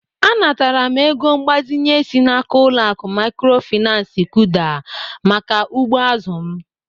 Anatara m ego mgbazinye si n'aka ụlọaku mikrofinansi KỤDA maka ugbo azụ m.